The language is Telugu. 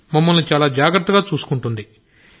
మమ్మల్ని చాలా జాగ్రత్తగా చూసుకుంటుంది